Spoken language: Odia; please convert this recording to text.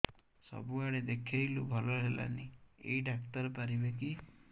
ସବୁଆଡେ ଦେଖେଇଲୁ ଭଲ ହେଲାନି ଏଇ ଡ଼ାକ୍ତର ପାରିବେ କି